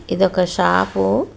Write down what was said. ఇది ఒక షాపు .